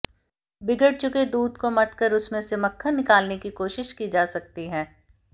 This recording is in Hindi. बिगड़ चुके दूध को मथकर उसमें से मक्खन निकालने की कोशिश की जा सकती है